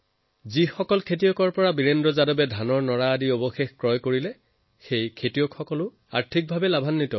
ইয়াৰ লাভ সেই কৃষকসকলৰো হৈছে যাৰ খেতিৰ পৰা বীৰেন্দ্ৰজীয়ে নৰা উঠায়